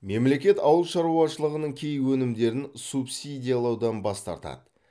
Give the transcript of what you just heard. мемлекет ауыл шаруашылығының кей өнімдерін субсидиялаудан бас тартады